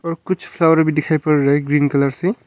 और कुछ फ्लावर भी दिखाई पड़ रहा है ग्रीन कलर से।